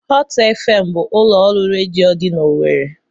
Hot FM bụ ụlọ ọrụ redio dị n'Owerri.